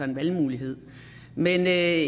en valgmulighed men jeg